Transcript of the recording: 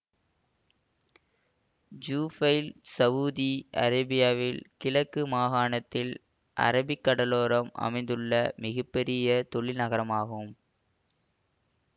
Jubail Saudi அரேபியாவின் கிழக்கு மகாணத்தில் அரபிக்கடலோரம் அமைந்துள்ள மிக பெரிய தொழில் நகராகும்